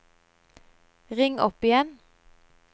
ring opp igjen